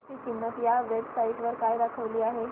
ची किंमत या वेब साइट वर काय दाखवली आहे